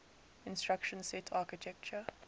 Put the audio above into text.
instruction set architecture